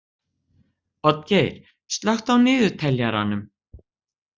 Oddgeir, slökktu á niðurteljaranum.